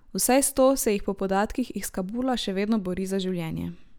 Vsaj sto se jih po podatkih iz Kabula še vedno bori za življenje.